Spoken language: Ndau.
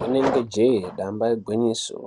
Rinenge jee damba igwinyiso.